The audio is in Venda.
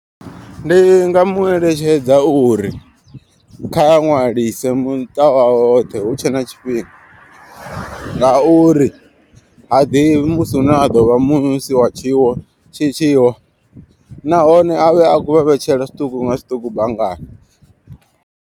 Ndi nga mu eletshedza uri kha ṅwalise muṱa wawe woṱhe hutshe na tshifhinga. Nga uri ha ḓivhi musi hune a ḓo vha musi wa tshiwo tshi tshiwa. Nahone avhe a kho vha vhetshela zwiṱuku nga zwiṱuku banngani.